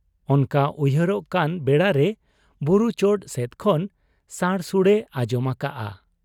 ᱚᱱᱠᱟ ᱩᱭᱦᱟᱹᱨᱚᱜ ᱠᱟᱱ ᱵᱮᱲᱟᱨᱮ ᱵᱩᱨᱩ ᱪᱚᱴ ᱥᱮᱫ ᱠᱷᱚᱱ ᱥᱟᱲᱥᱩᱲᱮ ᱟᱸᱡᱚᱢ ᱟᱠᱟᱜ ᱟ ᱾